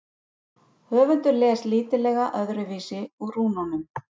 Höfundur les lítillega öðruvísi úr rúnunum.